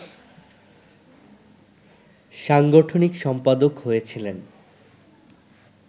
সাংগঠনিক সম্পাদক হয়েছিলেন